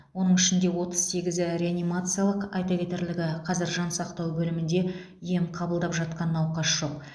оның ішінде отыз сегізі реанимациялық айта кетерлігі қазір жансақтау бөлімінде ем қабылдап жатқан науқас жоқ